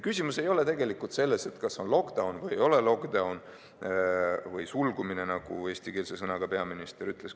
Küsimus ei ole selles, et kas on lockdown või ei ole lockdown või "sulgumine", nagu peaminister eestikeelse sõnaga ütles.